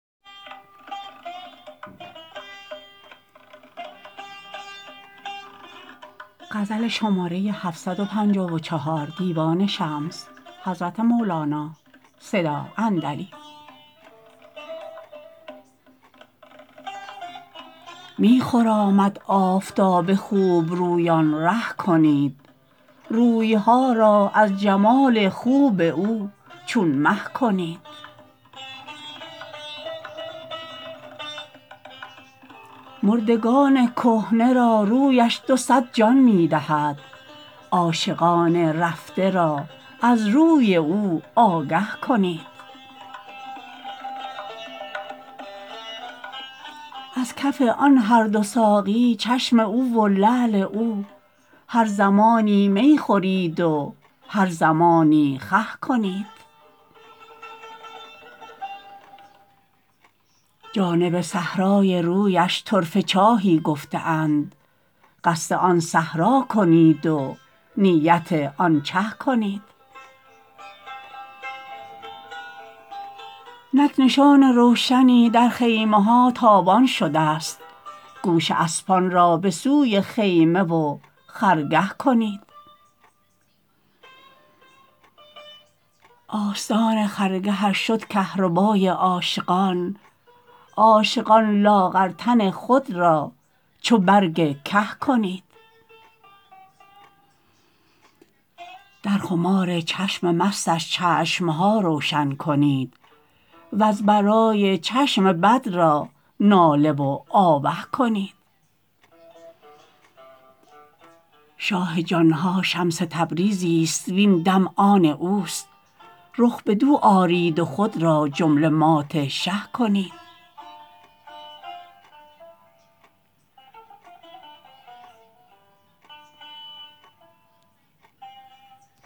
می خرامد آفتاب خوبرویان ره کنید روی ها را از جمال خوب او چون مه کنید مردگان کهنه را رویش دو صد جان می دهد عاشقان رفته را از روی او آگه کنید از کف آن هر دو ساقی چشم او و لعل او هر زمانی می خورید و هر زمانی خه کنید جانب صحرای رویش طرفه چاهی گفته اند قصد آن صحرا کنید و نیت آن چه کنید نک نشان روشنی در خیمه ها تابان شدست گوش اسبان را به سوی خیمه و خرگه کنید آستان خرگهش شد کهربای عاشقان عاشقان لاغر تن خود را چو برگ که کنید در خمار چشم مستش چشم ها روشن کنید وز برای چشم بد را ناله و آوه کنید شاه جان ها شمس تبریزیست و این دم آن اوست رخ بدو آرید و خود را جمله مات شه کنید